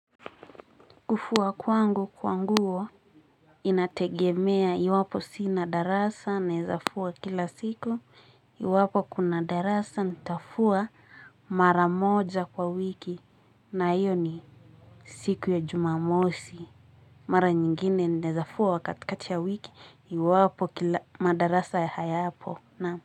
Kufua kwangu kwanguo inategemea iwapo sina darasa naezafua kila siku iwapo kuna darasa nitafua mara moja kwa wiki na iyo ni siku ya jumamosi mara nyingine naezafua wakati kati ya wiki iwapo kila madarasa ya hayapo na.